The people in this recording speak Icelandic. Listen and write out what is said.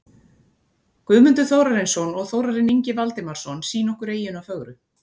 Guðmundur Þórarinsson og Þórarinn Ingi Valdimarsson sýna okkur eyjuna fögru.